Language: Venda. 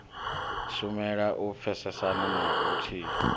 shumela u pfesesana na vhuthihi